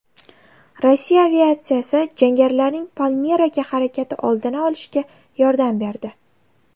Rossiya aviatsiyasi jangarilarning Palmiraga harakati oldini olishga yordam berdi.